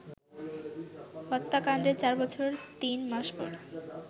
হত্যাকান্ডের চার বছর তিন মাস পর